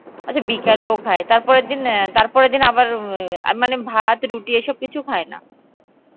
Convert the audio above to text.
আচ্ছা বিকালেও খায়, তার পরের দিন, তার পরের দিন ওই মানে ভাত রুটি এই সব কিছু খায় না